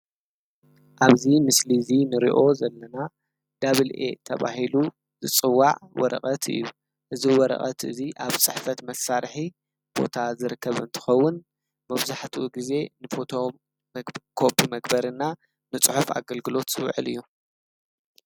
አብዚ ምስሊ ዚ ንሪኦ ዘለና ዳብል ኤ ተባሂሉ ዝፅዋዕ ወረቀት እዪ እዚ ወረቀት እዚ አብ ፅሕፈት መሳርሒ ቦታ ዝርከብ እንትከዉን መብዛሕቲኡ ግዜ ን ፎቶ ኮፒ መግበሪና ንፅሑፍ አገልግሎት ዝዉዕል እዪ ።